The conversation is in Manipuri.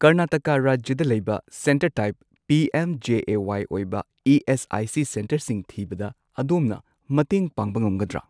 ꯀꯔꯅꯥꯇꯀꯥ ꯔꯥꯖ꯭ꯌꯗ ꯂꯩꯕ centre type P M J A Y ꯑꯣꯏꯕ ꯏ.ꯑꯦꯁ.ꯑꯥꯏ.ꯁꯤ. ꯁꯦꯟꯇꯔꯁꯤꯡ ꯊꯤꯕꯗ ꯑꯗꯣꯝꯅ ꯃꯇꯦꯡ ꯄꯥꯡꯕ ꯉꯝꯒꯗ꯭ꯔꯥ?